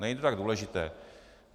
Není to tak důležité.